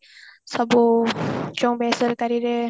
ସବୁ ଯୋଉ ବେସରକାରୀରେ